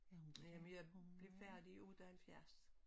Jamen jeg blev færdiguddannet 70